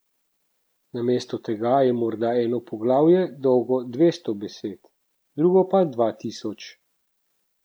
Namesto tega je morda eno poglavje dolgo dvesto besed, drugo pa dva tisoč.